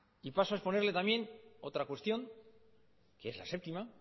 y paso a exponerle también otra cuestión que es la séptima